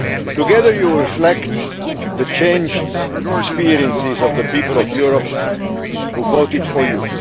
Together you reflect the changed experiences of the people of Europe who voted for you.